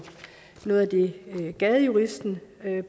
noget af det gadejuristen